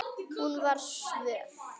Hún var svöl.